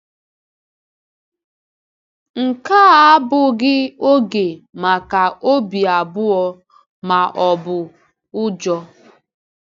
Nke a abụghị oge maka obi abụọ ma ọ bụ ụjọ.